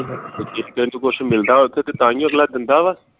ਤੇ ਤੈਨੂੰ ਕੁਛ ਮਿਲਦਾ ਤੇ ਤਾਹਿਓ ਅਗਲਾ ਦਿੰਦਾ ਵਾ